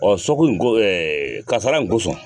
nin ko kasara nin kosɔn